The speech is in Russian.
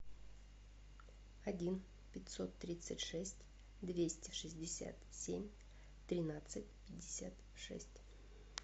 один пятьсот тридцать шесть двести шестьдесят семь тринадцать пятьдесят шесть